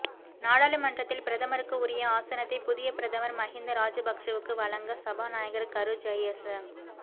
நாடாளுமன்றத்தில் பிரதமருக்கு உரிய ஆசனத்தை புதிய பிரதமர் மஹிந்த ராஜபக்ஷவுக்கு வழங்க சபாநாயகர் கரு ஜயச